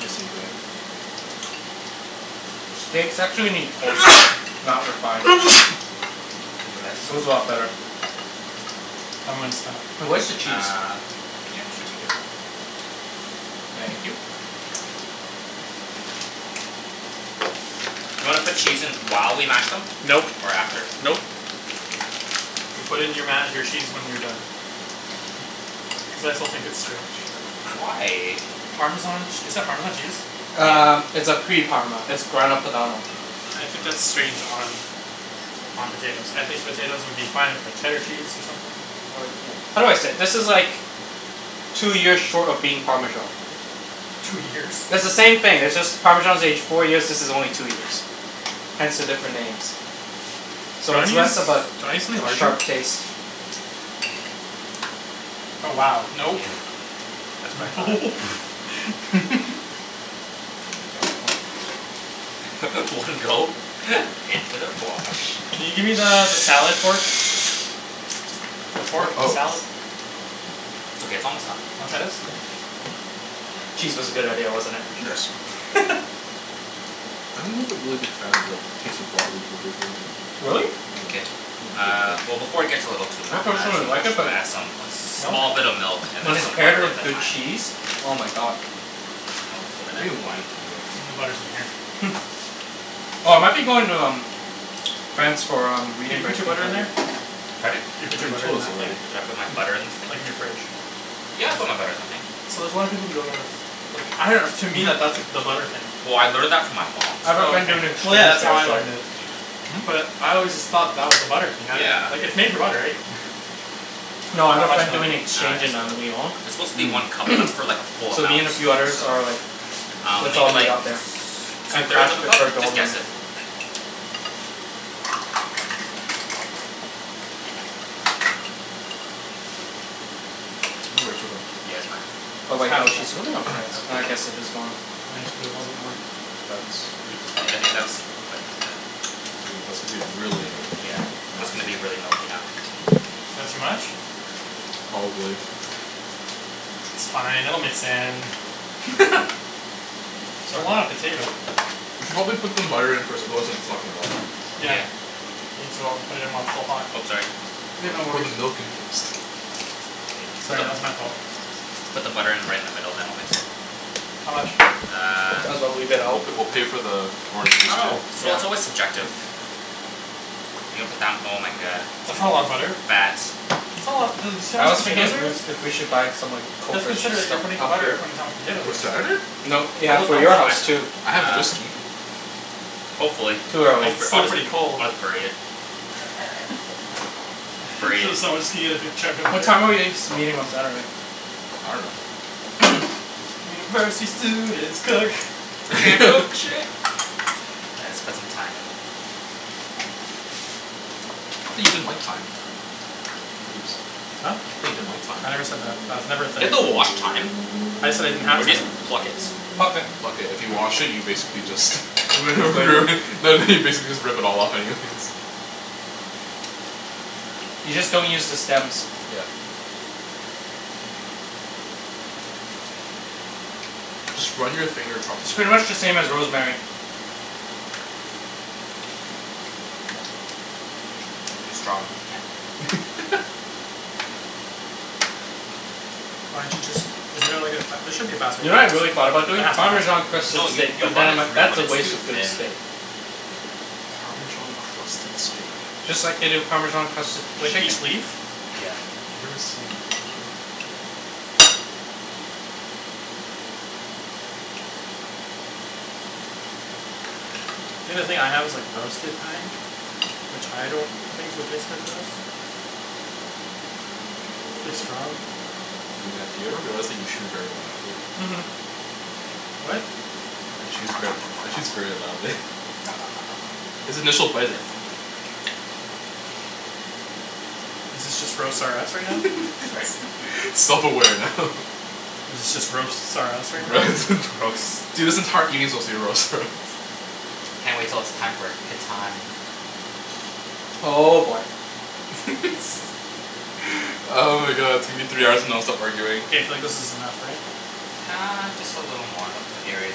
Nice and red, like that. Steaks actually need coarse salt. Not refined. Bless you. Goes a lot better. I'm goin' stop. Now where's the cheese? Uh yeah should be good. Thank you. Do you wanna put cheese in while we mash them? Nope, Or after? nope. You put it in your ma- your cheese when you're done. Cuz I still think it's strange. Why? Parmesan ch- is that Parmesan cheese? Uh Yeah. it's a pre parma. It's Grana Padano I think that's strange on on potatoes. I think potatoes would be fine with like cheddar cheese or something. How do I say it? This is like Two years short of being Parmesan. Two years? It's the same thing. It's just Parmesan is aged four years, this is only two years. Hence the different names. Do So you it's wanna use less do of you a wanna use something larger? sharp taste. Oh wow Yeah. nope That's what I thought. Nope You need that. One go into the fwosh. Can you gimme the the salad fork? The Fork? fork of a Oh. salad? It's okay, it's almost done. Wanna try this? Cheese was a good idea, wasn't it. Sure. Yes. I'm not the really big fan of like taste of raw a- arugula. Really? No, K, not my favorite uh veg. well before it gets a little too ma- uh personally too like mashed it but we'll add some Nope. small bit of milk and then When it's some paired butter and with the good thyme. cheese. Oh my god. Where's the milk? Over there? We need wine for today. I think the butter's in here. Oh I might be going to um France for um Did you reading put break your in butter in there? February. Pardon? You I put think your you butter in told us that thing? already. Did I put my Mhm. butter in this thing? Like in your fridge. Yeah, I put my butter in the thing. So there's a lotta people who don't know that's like I dunno to me Mhm. that that's the butter thing. Well I learned that from my mom I have a Oh friend okay, doing well so yeah exchange that's how there I so learned it. Hmm? But I always just thought that was the butter thing. I didn't - - like Yeah. it's made for butter right? No I have How a much friend milk? doing Uh exchange just in uh um Lyon it's supposed to be one Mmm. cup but that's like for like a full So amount me and a few others so. are like Um "Let's all maybe meet like t- up there two and thirds crash of a he- cup? her Just dorm guess room." it. We'll wait for them. Yeah, it's fine. Oh It's wait no half a cup. she's living on Half a rez. cup? Uh I Okay. guess it is dorm. Why don't you put a little bit more? That's are you supposed I I to? think that's quite Ooh, that's gonna be really Yeah, that's gonna milky. be really milky now. That too much? Probably. It's fine. It'll mix in. It's a lot of potato We should probably put some butter in first otherwise it's not gonna melt. Yeah Yeah. Need to o- put it in while it's still hot. Oh sorry. Yeah, Why'd no you pour the worries. milk in first? Sorry, that was my fault. Put the butter in right in the middle then I'll mix it. How much? Uh. Might as well leave it We'll out. p- we'll pay for the I orange juice dunno. too. It's real- Yeah. it's always subjective. You're gonna put down oh my god. That's It's not a lot of gonna butter. fat That's not a lotta dude you see how I much was thinking potatoes of there is? if we should buy some like Let's coke or sh- consider that stuff you're putting up here. butter according to how much potato For there is. Saturday? No yeah Will it for melt? your I house d- too. I have uh whiskey. Hopefully Too I'll Cuz early. b- it's I'll, still pretty cold. I'll just bury it. Bury it. So someone's just gonna get a big chunk of What butter? time are we s- meeting on Saturday? I dunno. University students cook. Can't cook for shit. All right let's put some thyme in. I thought you didn't like thyme. Ibs. Huh? Thought you didn't like thyme. I never said that. That's Do never a thing. you have to wash thyme? I just said I didn't have Or do you thyme. just pluck it? Pluck it. Pluck it. If you wash it you basically just Ruin the flavor. ruin no no you basically just rip it all off anyways. You just don't use the stems. Yeah. Just run your finger across the It's pretty thyme. much the same as rosemary. Too strong. Can't. Why didn't you just isn't there like a fa- there should be a faster You way to know do what I really this. thought about There doing? has to be a faster Parmesan way to crusted No do this. you steak. you But then run I'm it like, through that's but a it's waste too of good thin. steak. Parmesan crusted steak? Just like they do Parmesan crusted Like chicken. each leaf? Yeah. I've never seen it though. Think the thing I have is like roasted thyme Which I don't think would taste better than this. It's really strong. Matt, do you ever realize that you chew very loudly? Mhm. What? Matt chews ver- Matt chews very loudly His initial bite i- Is this just roast R us right now? Sorry? Self aware now. Is it just roasts R us right now? R- roast dude this entire evening's supposed to be roast R us. Can't wait till it's time for Catan. Oh boy. Oh my god it's gonna be three hours of nonstop arguing. K, I feel like this is enough, right? Uh just a little more they'll put areas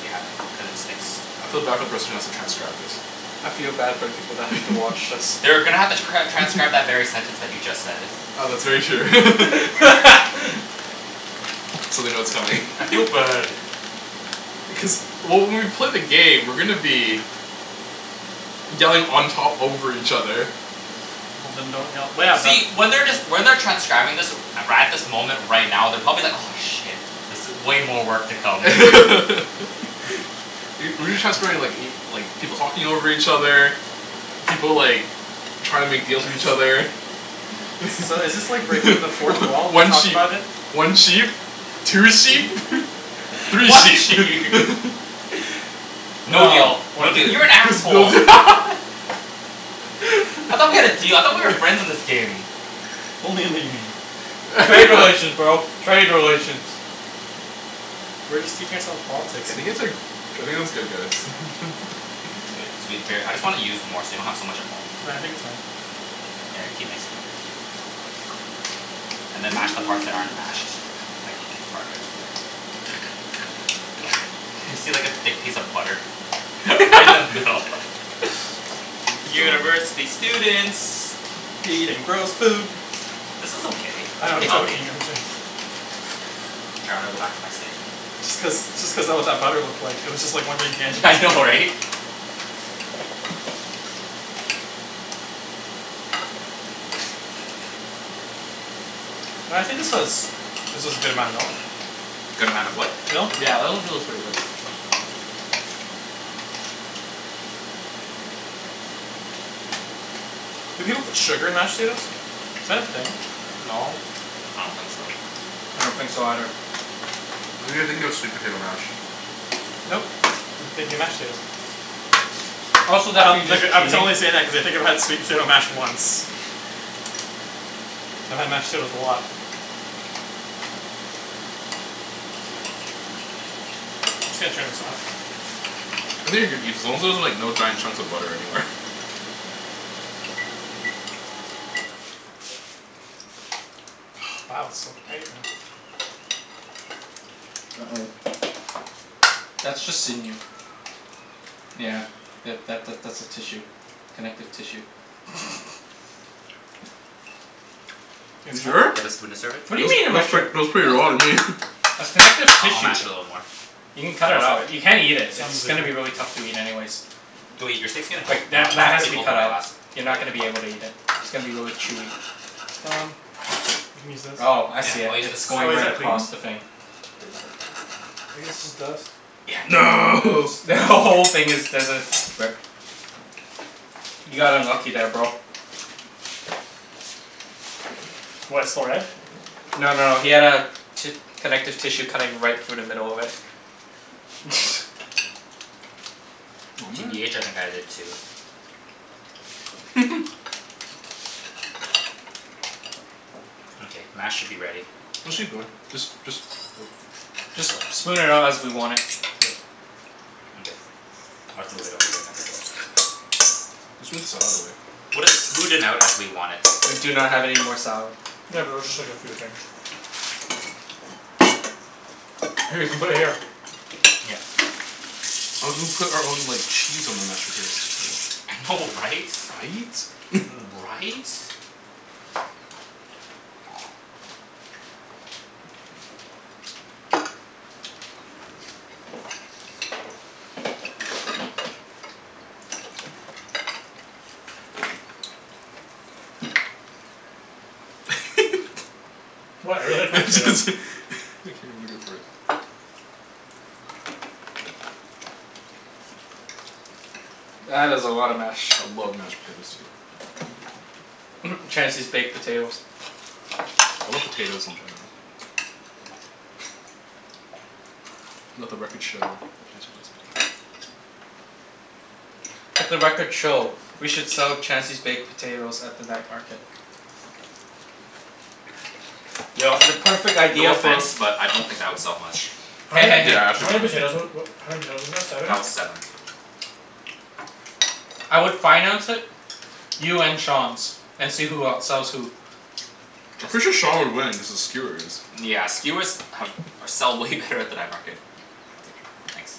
we haven't cuz it sticks. I feel bad for the person who has to transcribe this. I feel bad for the people that have to watch this. They're gonna have to cr- transcribe that very sentence that you just said. Oh that's very true. So they know it's coming. I feel bad. Cuz well when we play the game we're gonna be Yelling on top over each other. Well then don't yell well yeah the See when they're just when they're transcribing this right at this moment right now they're probably like aw shit. This i- way more work to come. Y- we've been transcribing like y- like people talking over each other. People like trying to make little deals put with the each stem. other. So is this like breaking the fourth wall to One talk sheep about it? one sheep Two sheep three One sheep sheep No deal No, one no deal sheep. you're an no asshole. I thought we had a deal I thought we were friends in this game. Only in the game. Trade relations, bro, trade relations. We're just teaching ourself politics I think it's uh I think it's good guys It's good cuz we bare- I just wanna use more so we don't have so much at home. Well I think it's fine. Mkay, yeah keep mixing it. And then mash the parts that aren't mashed like thick part right over there. see like a thick piece of butter. Right in the middle. Can you keep going University students Eating gross food. This is okay, I it's know I'm pretty healthy. joking I'm jo- K, I'm gonna go back to my steak. Just cuz just cuz that what that butter looked like. It was just one gigantic Yeah I know piece. right? No I think this was this was a good amount of milk. Good amount of what? Milk Yeah that actually looks pretty good. Do people put sugar in mashed potatoes? Is that a thing? No. I don't think so. I don't think so either. I think you're thinking of sweet potato mash. Nope, I'm thinking mashed potatoes. Also that'd Um be like just uh I'm t- cheating. only saying that cuz I've had sweet potato mash once. I've had mashed potatoes a lot. I'm just gonna turn this off. I think you're good Ibs as long as there's like no giant chunks of butter anywhere. Wow it's so quiet now. Uh oh. That's just sinew. Yeah. Yeah that that that's a tissue. Connective tissue. It's You enough? Do sure? you have a spoon to serve it? What do Ni- you mean am I nice sure? trick, looks pretty Now raw to it's me. good. That's connective Uh I'll tissue. mash it a little more. You can cut Then it I'll serve out. it. You can't eat it. It's Simon's really gonna be really good. tough to eat anyways. Go eat, your steak's getting cold. Like Mine, that mine that was has to pretty be cold cut when I out. last You're ate not gonna be it. able to eat it. It's gonna be really chewy. Um You can use this. Oh I Yeah, see it. I'll use this It's to Oh going is right that clean. clean? across the thing. I guess it's just dust. Yeah No it's The who- dust. whole Mkay. thing there's a rip. You got unlucky there bro. What, it's still red? No no no he had a ti- connective tissue cutting right through the middle of it. Oh man. TBH I think I did too. Mkay, mash should be ready. Actually good just just Just Just lips? spoon it out as we want it. Yep. Mkay. I'll just move it over there then. Let's put the salad away. We'll just smooth it out as we want it. We do not have any more salad. Yeah but it was just like a few things. Here you can put it here. Yeah. I was gonna put our own like cheese on the mashed potatoes. I know right? Right? Right? What? I really like my I potatoes. just, think I'ma go for it. That is a lot of mash. I love mashed potatoes too. Chancey's baked potatoes. I love potatoes in general. Let the records show that Chancey loves potatoes. Let the records show we should sell Chancey's baked potatoes at the night market. Yo, the perfect No idea for offense, but I don't think that would sell much. How Hey many hey hey. Yeah, how actually many wouldn't. potatoes wa- wa- how many potatoes was that? Seven? That was seven. I would finance it. You and Sean's, and see who outsells who. I'm Just pretty be- sure shh Sean would win, cuz of skewers. Yeah skewers have or sell way better at the night market. I'll take it. Thanks.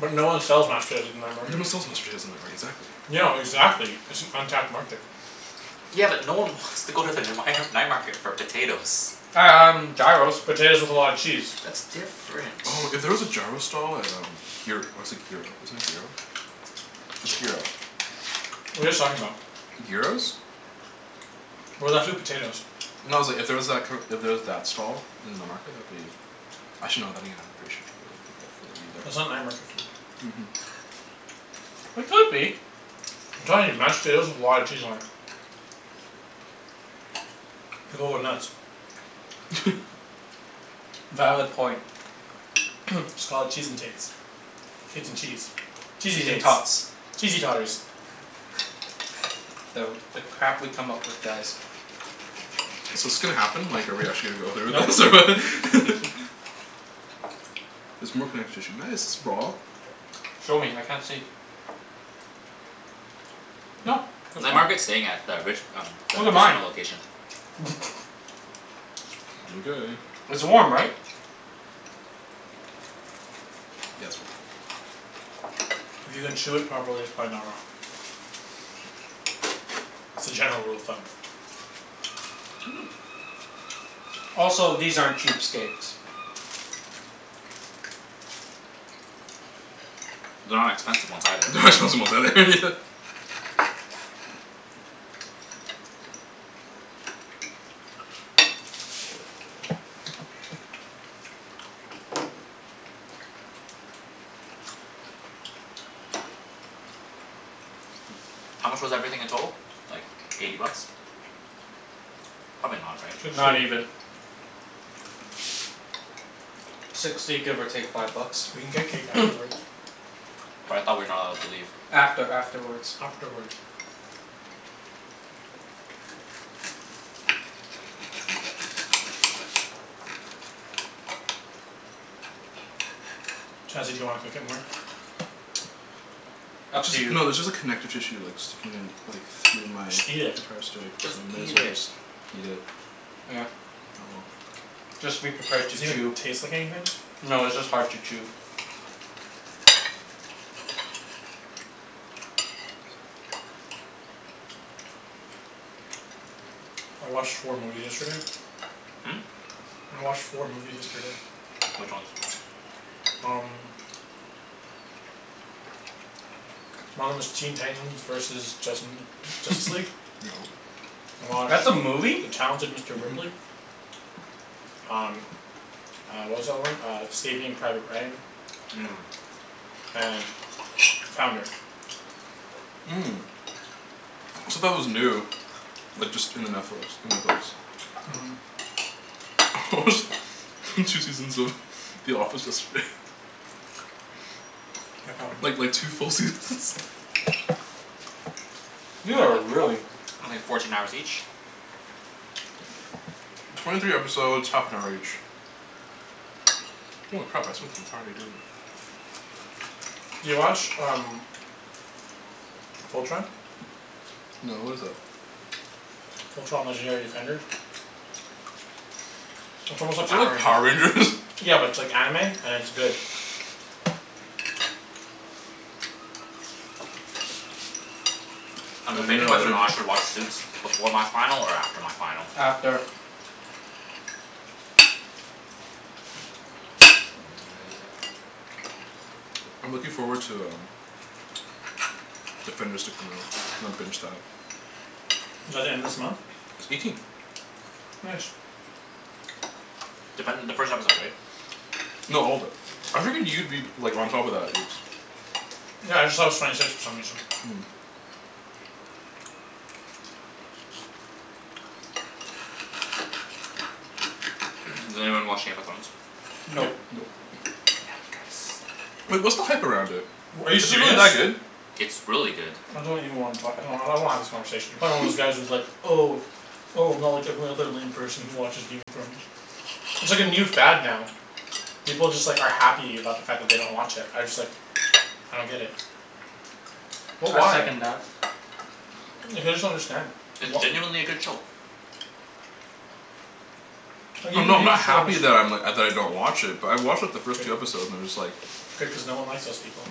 But no one sells mashed potatoes at the night market. sells mashed potatoes night mar- exactly. No, exactly, it's an untapped market. Yeah but no one wants to go to the the mighnar- night market for potatoes. Um gyros. Potatoes with a lot of cheese. That's different. Oh if there was a gyro stall at um gyr- or is it gyro, isn't it gyro? It's gyro. What are you guys talking about? Gyros? We're left with potatoes. No it's like if there was that kinda, if there was that stall in the night market that'd be Actually no then again pretty sure should go grab for the eat at That's not night market food. Mhm. It could be. I'm telling you. Mashed potatoes with a lot of cheese on it. People would nuts. Valid point. Just call it "Cheese N tates" "Tates N cheese" "Cheesey Cheese N tates" tots. "Cheesey totters." The the crap we come up with, guys. So 's this gonna happen? Like are we actually gonna go through with this Nope. or? There's more connective tissue. Nice Show me, I can't see. Nope, that's Night fine. market's staying at the Rich- um the Look at mine. casino location. Mkay. It's warm, right? If you can chew it properly, it's probably not raw. It's a general rule of thumb. Also, these aren't cheap steaks. They're not expensive ones either. They're not expensive ones either Yeah. How much was everything in total? Like eighty bucks. Probably not, right? Sixty. Not even. Sixty give or take five bucks. We can get cake afterwards. But I thought we're not allowed to leave. After afterwards. Afterwards. Chancey do you wanna cook it more? Up It's to you. just no there's just like connective tissue like sticking in like through my Just eat it. entire steak so Just I may as eat well it. just eat it. Yeah. Oh well. Just be prepared Does to it even chew. taste like anything? No, it's just hard to chew. I watched four movies yesterday. I watched four movies yesterday. Which ones? Um. One of 'em was Teen Titans versus Justin Justice League. Yep. I watched That's a movie? "The Talented Mister Mhm. Ripley." Um uh what was the other one? Uh "Saving Private Ryan." Mmm. And "Founder." Said that was new. Like just in the Netflix. In Netflix. Mhm. I watched two seasons of The Office yesterday. Yeah, probably. Like like two full seasons You That are like four- really only fourteen hours each? Twenty three episodes half an hour each. Holy crap I spent the entire day doing it. You watch um "Fultron?" No what is that? "Fultron, Legendary Defenders?" It's Is almost like that Power like Power Rangers? Rangers. Yeah but it's like anime and it's good. Uh I'm debating no I whether or didn't. not I should watch Suits before my final or after my final. After I'm looking forward to um Defenders to come out. I'm gonna binge that. Is that the end of this month? It's eighteen. Nice. Defender the first episode right? No all of it. I figured you'd be like on top of that Ibs. Yeah I just thought it was twenty six for some reason. Does anyone watch Game of Thrones? Nope. Nope. Nope. Damn it guys. Wait, what's the hype around it? W- are you Is it really serious? that good? It's really good. I don't even wanna talk I don't- I don't wanna have this conversation. You're probably one of those guys who's like "Oh "Oh I'm not like every other lame person who watches Game of Thrones." It's like a new fad now. People just like are happy about the fact that they don't watch it. I just like I don't get it. What I why? second that. Like I just don't understand. It's What genuinely a good show. Like even I'm not if I'm you not have the show happy just that I'm like, uh, that I don't watch it but I watched like the first two episodes and I'm just like Good cuz no one likes those people.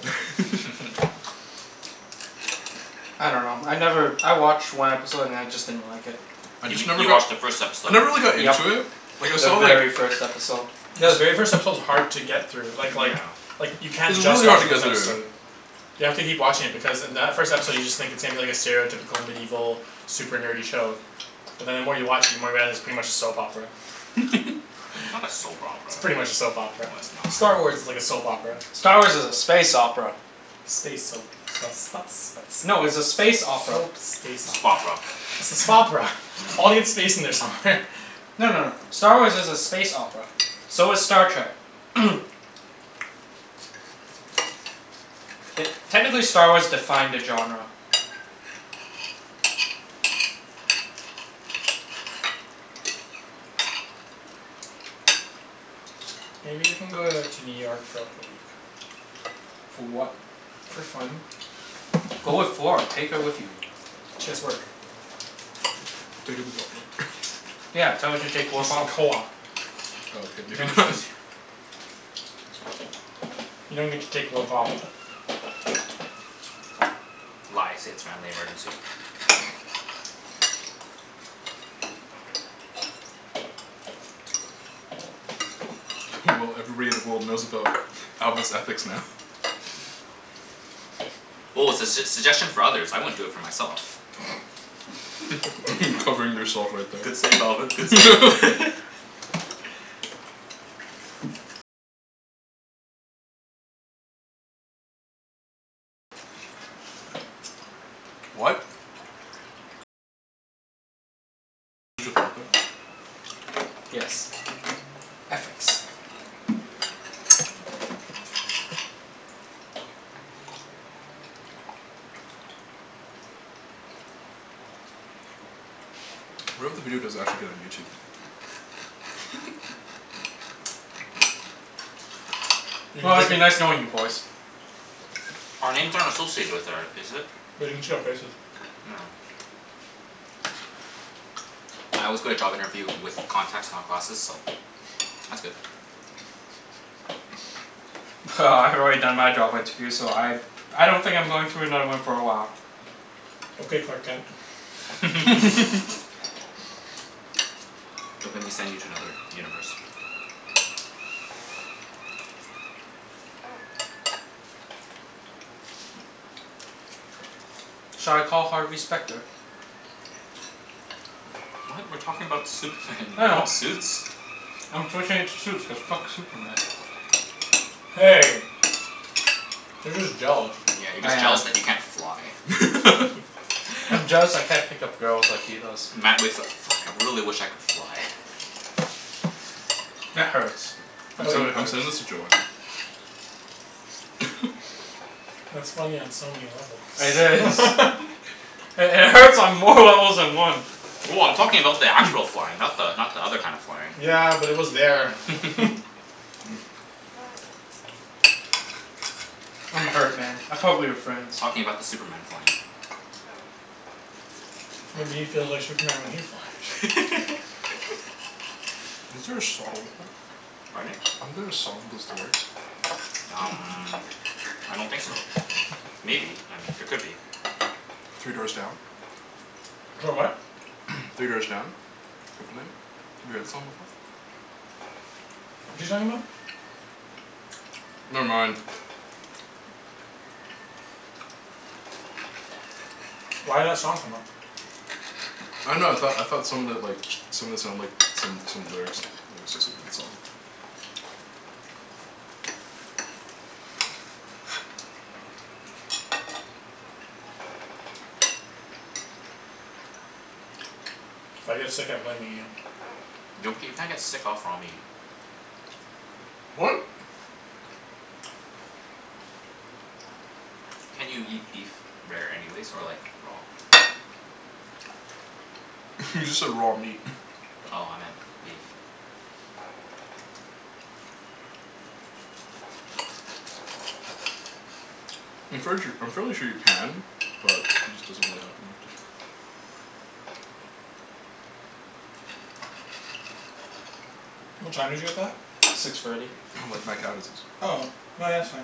I dunno. I never, I watched one episode and then I just didn't like it. I You just mean- never you got watched the first I episode. never really got Yep, into it Like I the saw like very first episode. Yeah the very first episode is hard to get through. Like like Yeah. like you can't It's just really watch hard to the first get through. episode. You have to keep watching it because in that first episode you just think it seems like a stereotypical medieval super nerdy show But then the more you watch it the more you realize it's pretty much a soap opera. Not a soap It's opera. pretty much a soap opera. No it's Star not. Wars is like a soap opera. Star Wars is a space opera. Space soap No it's a soap space space opera. opera. Spopera. It's a "Spopera." Audience space in there somewhere. No no no. Star Wars is a space opera. So is Star Trek. Te- technically Star Wars defined the genre. Maybe you can go uh to New York for like a week. For what? For fun. Go with Flor, take her with you. She has work. Take a week off work. Yeah, tell her to She's take work in off. co-op. Oh okay, maybe not. You don't get to take work off. Lie, say it's family emergency. Well everybody in the world knows about Alvin's ethics now. Well it's a s- suggestion for others. I wouldn't for do it myself. Covering yourself right Good there. save Alvin, good save. What? Yes. Ethics. What if the video does actually get on YouTube? You can Well, break it's it. been nice knowing you boys. Our names aren't associated with or is it? They can see our faces. Oh. I always go to job interview with contacts not glasses, so that's good. Well, I've already done my job interview so I I don't think I'm going through another one for a while. Okay Clark Kent. Don't make me send you to another universe. Shall I call Harvey Specter? What? We're talking about Superman, you're I talking know. about Suits? I'm switching it to Suits cuz fuck Superman. Hey. You're just jealous. Yeah, you're I just am. jealous that you can't fly. I'm jealous I can't pick up girls like he does. Matt wakes up: "Fuck, I really wish I could fly." That hurts. I'm That really sen- I'm hurts. sending this to Joanne. That's funny on so many levels. It is. It hurts on more levels than one. Well, I'm talking about the actual flying. Not the not the other kind of flying. Yeah, but it was there. I'm hurt man, I thought we were friends. Talking about the Superman flying. Maybe he feels like Superman when he flies. Isn't there a song like that? Pardon? Isn't there a song with those lyrics? Um I don't think so. Maybe, I mean there could be. Three Doors Down? Clo- what? Three Doors Down? Kryptonite? Have you heard that song before? What's he talking about? Never mind. Why'd that song come up? I dunno, I thought I thought some of it like, some of it sounded like some some lyrics lyrics associated with the song. If I get sick I'm blaming you. Gnocchi, you can't get sick off raw meat. What? Can't you eat beef rare anyways? Or like raw? You just said raw meat. Oh, I meant beef. I'm fairly sure I'm fairly sure you can, but it just doesn't really happen often. What time did you get that? Six thirty. Like mad cow disease. Oh. No yeah, that's fine.